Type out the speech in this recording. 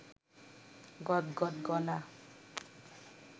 গদগদ গলা